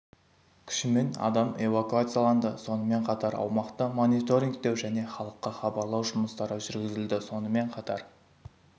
күшімен адам эвакуацияланды сонымен қатар аумақты мониторингтеу және халыққа хабарлау жұмыстары жүргізілді сонымен қатар